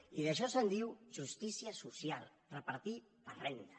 i d’això se’n diu justícia social repartir per renda